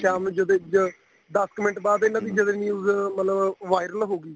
ਸ਼ਾਮ ਨੂੰ ਜਦੋਂ ਇੰਝ ਦਸ ਕ ਮਿੰਟ ਬਾਅਦ ਇਹਨਾ ਦੀ news ਮਤਲਬ viral ਹੋ ਗਈ